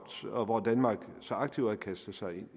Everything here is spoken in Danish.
og hvor danmark så aktivt havde kastet sig ind